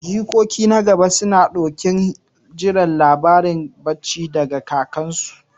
Jikoki na gaba suna ɗokin jiran labaran bacci daga kakarsu.